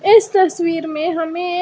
इस तस्वीर में हमें एक--